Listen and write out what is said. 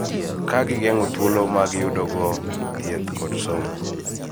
Ka gigeng�o thuolo ma giyudogo thieth kod somo.